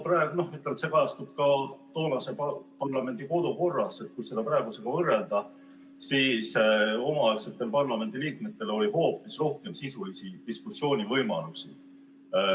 Jah, kui võrrelda toonase parlamendi kodukorda praegusega, siis omaaegsetel parlamendiliikmetel oli hoopis rohkem sisulise diskussiooni võimalusi.